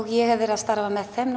ég hef verið að starfa með þeim